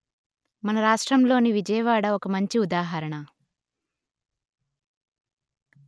మన రాష్ట్రంలోని విజయవాడ ఒక మంచి ఉదాహరణ